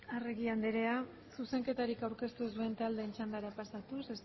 arregi anderea zuzenketarik aurkeztu ez duen taldeen txandara pasatuz